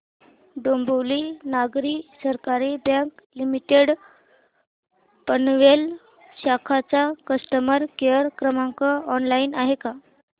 डोंबिवली नागरी सहकारी bank limited Panvel शाखा चा कस्टमर केअर क्रमांक ऑनलाइन आहे का